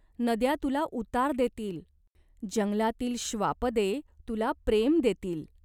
नद्या तुला उतार देतील. जंगलातील श्वापदे तुला प्रेम देतील.